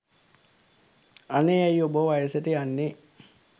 අනේ ඇයි ඔබ වයසට යන්නේ?